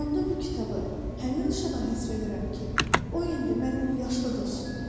onda bu kitabı həmin uşağa həsr edirəm ki, o indi mənim yaşlı dostumdur.